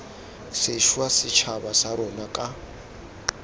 sešwa setšhaba sa rona ka